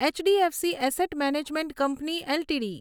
HDFC asset management company LTD